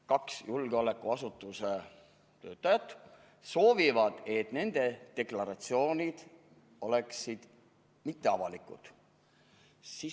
Kaks julgeolekuasutuse töötajat soovivad, et nende deklaratsioonid oleksid mitteavalikud.